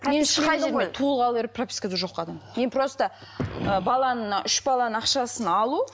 мен еш қай жерде туылғалы бері пропискада жоқ адаммын мен просто ы баланы мына үш баланың ақшасын алу